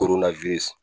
Koronna